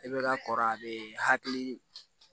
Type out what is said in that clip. I bɛ ka kɔrɔ a bɛ hakili